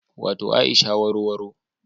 Wato Aisha warowaro